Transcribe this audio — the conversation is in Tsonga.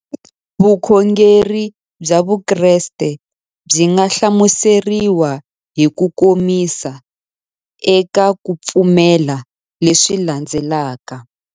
Vukhongeri bya Vukreste byi nga hlamuseriwa hi kukomisa eka ku pfumela leswi landzelaka.